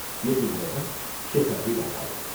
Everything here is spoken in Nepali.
यति भनेर शेखर विदा भयो।